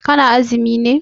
Ka na azumi ne?